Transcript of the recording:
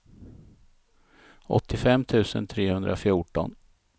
åttiofem tusen trehundrafjorton